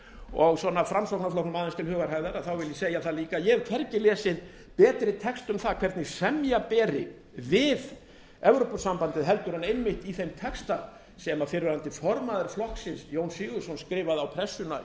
og framsóknarflokknum aðeins til hugarhægðar vil ég segja það líka að ég hef hvergi lesið betri texta um það hvernig semja beri við evrópusambandið heldur en einmitt í þeim texta sem fyrrverandi formaður flokksins jón sigurðsson skrifaði á pressuna